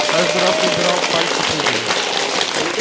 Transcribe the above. каждый раз набирал пальцы прыгали